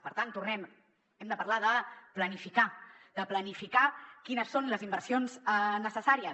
per tant tornem hi hem de parlar de planificar de planificar quines són les inversions necessàries